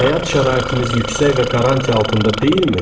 Həyat şəraitimiz yüksək və qarantiyə altında deyilmi?